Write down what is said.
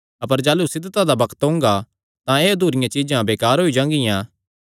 अपर जाह़लू सिद्धता दा बग्त ओंगा तां एह़ अधूरियां चीज्जां बेकार होई जांगियां